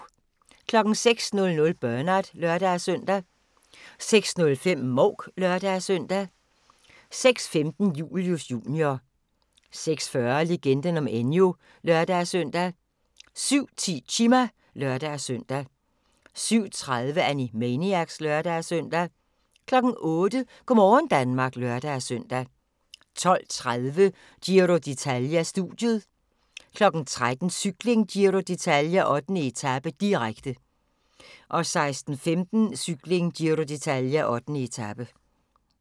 06:00: Bernard (lør-søn) 06:05: Mouk (lør-søn) 06:15: Julius Jr. 06:40: Legenden om Enyo (lør-søn) 07:10: Chima (lør-søn) 07:30: Animaniacs (lør-søn) 08:00: Go' morgen Danmark (lør-søn) 12:30: Giro d'Italia: Studiet 13:00: Cykling: Giro d'Italia - 8. etape, direkte 16:05: Cykling: Giro d'Italia - 8. etape